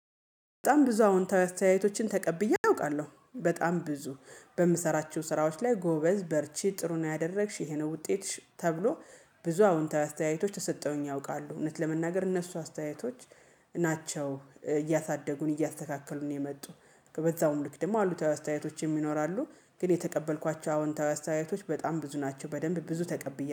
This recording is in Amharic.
በጣም ብዙ አዎንታዊ አስተያየቶችን ተቀብዬ አውቃለሁ በጣም ብዙ በምሰራቸው ስራዎች ላይ ጎበዝ በርቺ ጥሩን ነው ያደረግሽ ይሄ ነው ውጤትሽ ተብሎ ብዙ አዎንታዊ አስተያየቶች ተሰጠውኝ ያውቃሉ። እውነት ለመናገር እነሱ አስተያየቶች ናቸው እያሳደጉን እያስተካከሉን ነው የመጡት በዛውም ልክ ደግሞ አሉታዊ አስተያየቶችም ይኖራሉ። ግን የተቀበልኳቸው አዎንታዊ አስተያየቶች በጣም ብዙ ናቸው በደንብ ብዙ ተቀብያለሁ